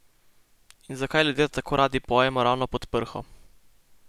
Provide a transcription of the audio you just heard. In zakaj ljudje tako radi pojemo ravno pod prho?